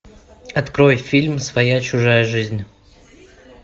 открой фильм своя чужая жизнь